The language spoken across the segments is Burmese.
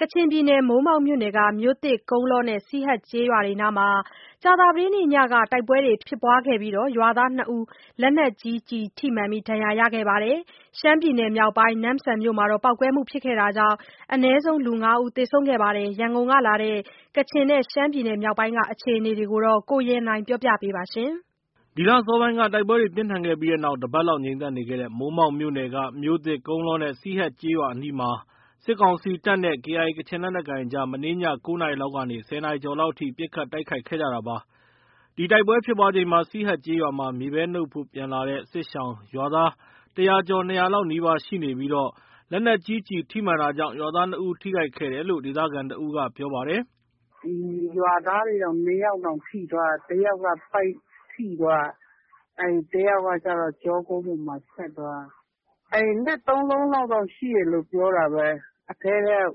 ကချင်ပြည်နယ် မိုးမောက်မြို့နယ်က မြို့သစ်၊ ကုန်းလောနဲ့ စီဟတ်ကျေးရွာအနီးမှာ ကြာသပတေးညက တိုက်ပွဲဖြစ်ပွားခဲ့ပြီး ရွာသား ၂ ယောက် လက်နက်ကြီးကျည်ထိမှန်ဒဏ်ရာရခဲ့သလို ရှမ်းပြည်နယ်မြောက်ပိုင်း နမ့်ဆန်မြို့မှာလည်းပေါက်ကွဲမှုဖြစ်ခဲ့တာကြောင့် အနည်းဆုံး လူ ၅ယောက် သေဆုံးခဲ့ပါတယ်။ ရန်ကုန်ကလာတဲ့ ကချင်ပြည်နယ်နဲ့ ရှမ်ပြည်နယ်မြောက်ပိုင်းက အခြေအနေတွေကို ကိုရန်နိုင် က တင်ပြပေးပါမယ်။ ဒီလ အစောပိုင်းက တိုက်ပွဲတွေပြင်းထန်ခဲ့ပြီးနောက် တစ်ပတ်လောက် ငြိမ်သက်နေခဲ့တဲ့ မိုးမောက်မြို့နယ်က မြို့သစ်၊ ကုန်းလောနဲ့ စီဟတ်ကျေးရွာအနီးမှာ စစ်ကောင်စီတပ်နဲ့ KIA ကချင်လက်နက်ကိုင်အကြား မနေ့ည ၉ နာရီလောက်ကနေ ၁၀ နာရီကျော်လောက်အထိ ပစ်ခတ်တိုက်ခိုက်ခဲ့တာပါ။ ဒီတိုက်ပွဲဖြစ်ပွားချိန်မှာ စီဟတ်ရွာမှာ မြေပဲနုတ်ဖို့ ပြန်လာတဲ့ စစ်ရှောင် ရွာသား ၁၀၀ ကျော်၂၀၀ နီးပါးလောက်ရှိ နေကြပြီး လက်နက်ကြီးကျည် ထိမှန်တာကြောင့် ရွာသား ၂ ဦး ထိခိုက်ခဲ့တယ်လို့ ဒေသခံတစ်ဦးက ပြောပါတယ်။ “ရွာသားတွေတောင် ၂ယောက်တောင် ထိသွားတာ။ တစ်ယောက်က ဗိုက်ထိသွားတာ။ တစ်ယောက်ကကျတော့ ကျောကုန်းပေါ်မှာ ဖြတ်သွားတာ။ လက်သုံးလုံးလောက် ရှိတယ်လို့ ပြောတာပဲ။ အထဲထဲက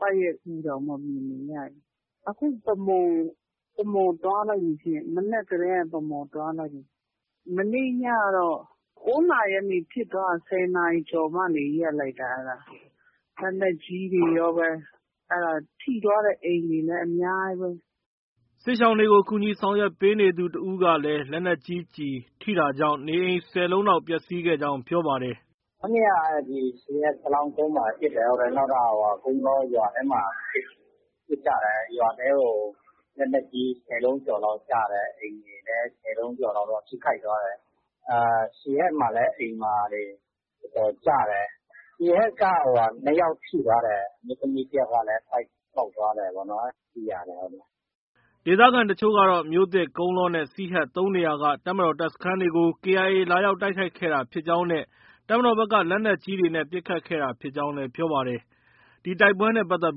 ဗိုက်ရဲ့ အူတွေတောင် မြင်နေရတယ်။ အခု ဗန်းမော်ကို သွားလိုက်ပြီ။ မနက်ကတည်းက ဗန်းမော်ကို သွားလိုက်ပြီ။ မနေ့ညကတော့ ၉နာရီကျော်ကနေ ဖြစ်သွားတာ။ ၁၀နာရီကျော်မှ ရပ်လိုက်တာ။ လက်နက်ကြီးတွေရောပဲ။ ထိသွားတဲ့ အိမ်တွေလည်း အများကြီးပဲ။” စစ်ရှောင်တွေကို ကူညီဆောင်ရွက်ပေးနေသူ တစ်ဦးကလည်း လက်နက်ကြီး ကျည်ထိတာကြောင့် နေအိမ် ၁၀ လုံးလောက် ပျက်ဆီးခဲ့ကြောင်း ပြောပါတယ်။ “မနေ့က ဒီစီဟတ် စလောင်းကုန်းမှာ ပစ်တယ်။ နောက် ကုန်းလောရွာထဲမှာ ပစ်ကြတယ်။ ရွာထဲကို လက်နက်ကြီး ၁၀လုံးကျော်လောက်ကျတယ်။ အိမ်တွေလည်း ၁၀ လုံးကျော်လောက် ထိခိုက်သွားတယ်။ စီဟတ်မှာလည်း အိမ်မှာတွေ တော်တော်ကျတယ်။ စီဟတ်က နှစ်ယောက် ထိသွားတယ်။ အမျိုးသမီးတစ်ယောက်ကလည်း ဗိုက်ပေါက်သွားတယ်ပေါ့နော် အဲလို သိရတယ်။” ဒေသခံတချို့ကတော့ မြို့သစ်၊ ကုန်းလောနဲ့ စီဟတ် ၃ နေရာက တပ်မတော်တပ်စခန်းတွေကို KIA က လာရောက်တိုက်ခိုက်ခဲ့တာဖြစ်ကြောင်းနဲ့ တပ်မတော်ဘက်က လက်နက်ကြီးတွေနဲ့ ပစ်ခတ်ခဲ့တာဖြစ်ကြောင်း ပြောပါတယ်။ ဒီတိုက်ပွဲနဲ့ပတ်သက်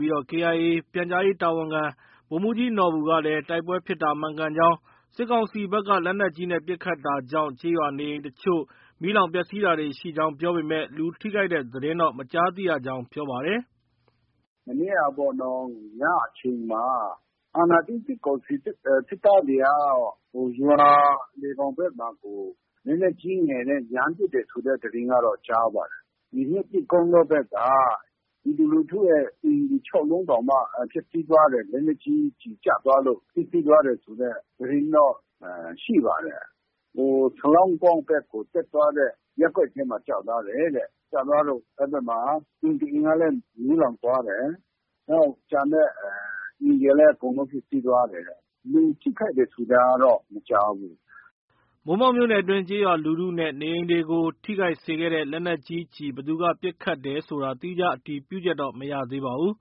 ပြီး KIA ရဲ့ ပြန်ကြားရေးတာဝန်ခံ ဗိုလ်မှုးကြီးနော်ဘူကလည်း တိုက်ပွဲဖြစ်တာမှန်ကန်ကြောင်း၊ စစ်ကောင်စီဘက်က လက်နက်ကြီးနဲ့ ပစ်ခတ်တာကြောင့် ကျေးရွာနေအိမ်တချို့ မီးလောင်ပျက်ဆီးတာတွေရှိကြောင်း ပြောပေမဲ့ လူထိခိုက်တဲ့သတင်းတော့ မကြားသိရကြောင်း ပြောပါတယ်။ “မနေ့ကပေါ့နော်။ ညအချိန်မှာ အာဏာသိမ်းစစ်ကောင်စီ စစ်သားတွေက ရွာလည်ခေါင်ဘက်မှာကို လက်နက်ကြီး၊ငယ်တွေနဲ့ ရမ်းပစ်တယ်ဆိုတဲ့ သတင်းကတော့ ကြားပါတယ်။ ဒီမြို့သစ်၊ ကုန်းလောဘက်က ပြည်သူလူထုရဲ့ အိမ် ၆လုံးတောင်မှ ပျက်ဆီးသွားတယ်။ လက်နက်ကြီးကျည်ကျသွားလို့ ပျက်ဆီးသွားတယ်ဆိုတဲ့သတင်းတော့ ရှိပါတယ်။ စလောင်းကုန်းဘက်ကို တက်သွားတဲ့ ရပ်ကွက်ထဲမှာ ကျသွားတယ်တဲ့။ ကျသွားလို့ အဲဒီဘက်မှာ အိမ်တစ်အိမ်လည်း မီးလောင်သွားတယ်။ နောက် ကျန်တဲ့အိမ်တွေလည်း ပျက်ဆီးသွားတယ်တဲ့။ လူထိခိုက်တယ်ဆိုတာတော့ မကြားဘူး။” မိုးမောက်မြို့နယ်အတွင်း ကျေးရွာလူထုနဲ့ နေအိမ်တွေကို ထိခိုက်စေခဲ့တဲ့ လက်နက်ကြီးကျည် ဘယ်သူက ပစ်ခတ်ဆိုတာ သီးခြား အတည်ပြုချက်တော့ မရသေးပါဘူး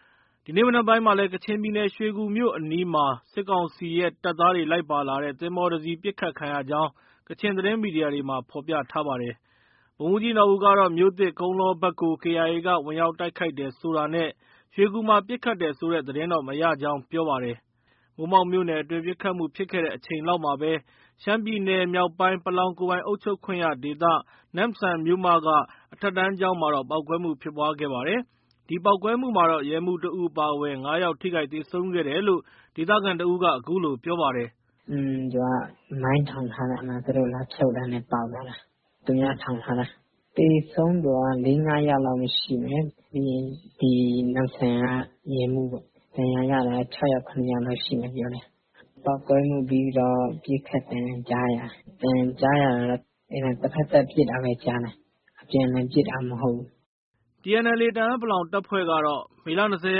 ။ ဒီနေ့ မနက်ပိုင်းမှာလည်း ကချင်ပြည်နယ်ရွှေကူမြို့အနီးမှာ စစ်ကောင်စီရဲ့ တပ်သားတွေ လိုက်ပါလာတဲ့ သင်္ဘောတစ်စီးပစ်ခတ်ခံရကြောင်း ကချင်သတင်းမီဒီယာတွေမှာ ဖော်ပြထားပါတယ်။ ဗိုလ်မှုးကြီးနော်ဘူကတော့ မြို့သစ်၊ ကုန်းလောဘက်ကို KIA က ဝင်ရောက်တိုက်ခိုက်တယ်ဆိုတာနဲ့ ရွှေကူမှာ ပစ်ခတ်တယ်ဆိုတဲ့သတင်းတော့ မရကြောင်း ပြောပါတယ်။ ဒီကနေ့မှာတော့ မိုးမောက်မြို့နယ်အတွင်း တိုက်ပွဲတွေ ငြိမ်သက်နေခဲ့ပါတယ်။ မိုးမောက်မြို့နယ်အတွင်း ပစ်ခတ်မှုဖြစ်ခဲ့တဲ့အချိန်လောက်မှာပဲ ရှမ်းပြည်နယ် မြောက်ပိုင်း ပလောင်ကိုယ်ပိုင်အုပ်ချုပ်ခွင့်ရဒေသ နမ့်ဆန်မြို့မက အထက်တန်းကျောင်းမှာ ပေါက်ကွဲမှု ဖြစ်ခဲ့ပါတယ်။ ဒီပေါက်ကွဲမှုမှတော့ ရဲမှုးတစ်ဦးအပါအဝင် ၅ယောက် ထိခိုက်သေဆုံးခဲ့တယ်လို ဒေသခံတစ်ဦးက အခုလို ပြောပါတယ်။ “သူက မိုင်းထောင်ထားတာ သူတို့ လာဖြုတ်တာနဲ့ ပေါက်သွားတာ။ သူများထောင်ထားတာ။ သေဆုံးသူက ၄- ၅ယောက်လောက် ရှိမယ်။ ဒဏ်ရာရတာက ၆ယောက်၊ ၇ယောက်လောက်ရှိမယ်ပြောတယ်။ ပြီးရင် နမ့်ဆန်က ရဲမှုးပေါ့။ ပေါက်ကွဲမှုပြီးတော့ ပစ်ခတ်သံ ကြားရတာ။ အသံကြားတာတော့ တဖက်သတ်ပစ်တာပဲ ကြားတယ်။ အပြန်အလှန် ပစ်တာမဟုတ်ဘူး။” TNLA တအန်း(ပလောင်)တပ်ဖွဲ့ကတော့ မေလ ၂၀ ရ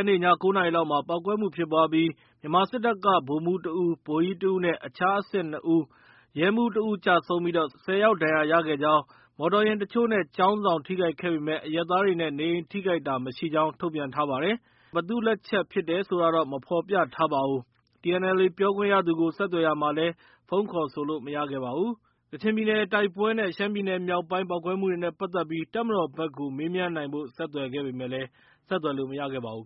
က်နေ့ ည ၉နာရီလောက်မှာ ပေါက်ကွဲမှုဖြစ်ပွားပြီး မြန်မာစစ်တပ်က ဗိုလ်မှုး တဦး၊ ဗိုလ်ကြီးတဦး၊ အခြားအဆင့် ၂ ဦးနဲ့ ရဲမှုးတစ်ဦးကျဆုံးပြီး ၁၀ ယောက် ဒဏ်ရာရခဲ့ကြောင်း၊ မော်တော်ယာဉ်တချို့နဲ့ ကျောင်းဆောင် ထိခိုက်ခဲ့ပေမဲ့အရပ်သားတွေနဲ့ နေအိမ်ထိခိုက်တာ မရှိကြောင်း ထုတ်ပြန်ထားပါတယ်။ TNLA က ဘယ်သူ့ လက်ချက်ဖြစ်တယ်ဆိုတာ မဖော်ပြထားပါဘူး။ TNLA ပြောခွင့်ရသူကို ဆက်သွယ်ရာမှာလည်း ဖုန်း ခေါ်ဆိုလို့ မရခဲ့ပါဘူး။ ကချင်ပြည်နယ် တိုက်ပွဲနဲ့ ရှမ်းပြည်နယ်မြောက်ပိုင်း ပေါက်ကွဲမှုနဲ့ပတ်သက်ပြီး တပ်မတော်ဘက်ကို မေးမြန်းနိုင်ဖို့ ဆက်သွယ်ခဲ့ပေမဲ့ ဆက်သွယ်လို့ မရခဲ့ပါဘူး